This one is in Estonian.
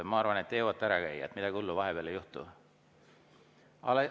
Ma arvan, et te jõuate ära käia, et midagi hullu vahepeal ei juhtu.